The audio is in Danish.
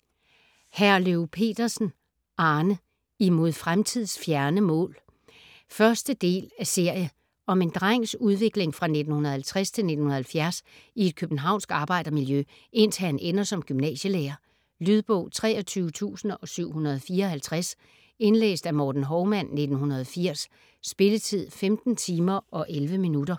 Herløv Petersen, Arne: Imod fremtids fjerne mål 1. del af serie. Om en drengs udvikling fra 1950 til 1970 i et københavnsk arbejdermiljø, indtil han ender som gymnasielærer. Lydbog 23754 Indlæst af Morten Hovman, 1980. Spilletid: 15 timer, 11 minutter.